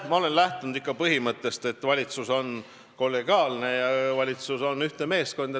Mina olen lähtunud ikka põhimõttest, et valitsus on kollegiaalne ja valitsus on ühtne meeskond.